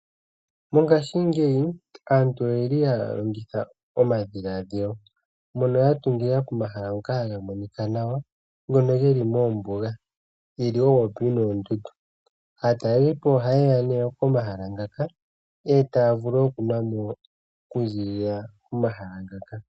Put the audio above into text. Mongaashingeyi aantu oyeli ya longitha omadhilaadhilo mono ya tungila komahala ngoka haga monika nawa ngono moombuga geli popepi noondundu. Aatalelipo ohayeyi nee pomahala ngaka etaya vulu okuyapo pomahala ngaka.